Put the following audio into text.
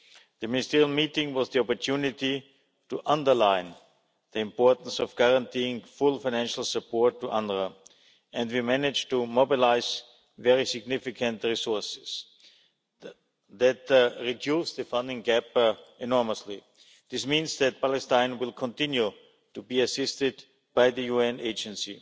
The ministerial meeting was an opportunity to underline the importance of guaranteeing full financial support to UNRWA, and we managed to mobilise very significant resources that reduce the funding gap enormously. This means that Palestine will continue to be assisted by the UN Agency.